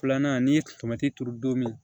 Filanan n'i ye tomati turu don min na